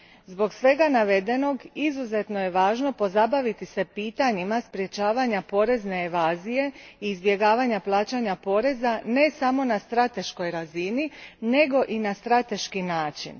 Zbog svega navedenog, izuzetno je važno pozabaviti se pitanjima sprečavanja porezne evazije i izbjegavanja plaćanja poreza, ne samo na strateškoj razini, nego i na strateški način.